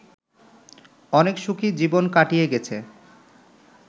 অনেক সুখী জীবন কাটিয়ে গেছে